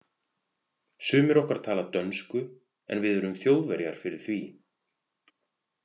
Sumir okkar tala dönsku, en við erum Þjóðverjar fyrir því.